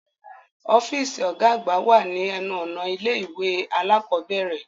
Ọfiisi ọgá àgbà wá ni ẹnu-ọna ilé-ìwé alakọ̀bẹrẹ